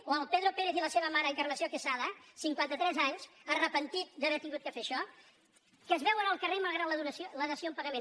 o el pedro pérez i la seva mare encarnació quesada cinquanta·tres anys penedit d’haver hagut de fer això que es ve·uen al carrer malgrat la dació en pagament